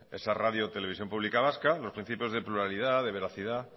esa radio televisión pública vasca los principios de pluralidad de veracidad